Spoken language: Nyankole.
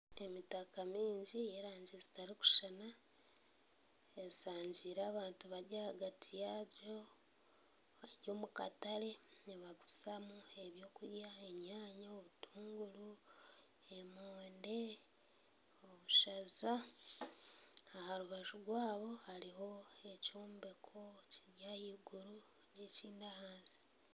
Emitaka mingi yerangi zitarikushushana eshangiire abantu bari ahagati yaayo bari omu katare nibaguzamu ebintu enyanya obutunguru emonde obushaza aha rubaju rwabyo hariho ekyombeko kiri ahaiguru n'ekindi ahansi